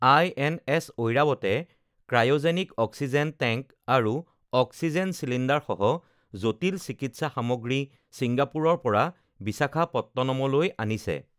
INS ঐৰাৱতে cryogenic oxygen tank আৰু oxygen চিলিণ্ডাৰসহ জটিল চিকিৎসা সামগ্ৰী ছিংগাপুৰৰ পৰা বিশাখাপট্টনমলৈ আনিছে